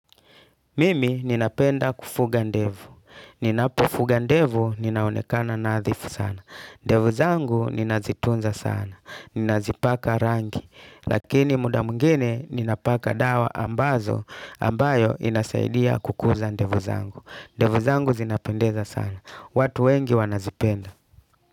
Mimi ninapenda kufuga ndevu. Ninapo fuga ndevu ninaonekana na adhifu sana. Ndevu zangu ninazitunza sana. Ninazipaka rangi. Lakini muda mwingine ninapaka dawa ambazo ambayo inasaidia kukuza ndevu zangu. Ndevu zangu zinapendeza sana. Watu wengi wanazipenda.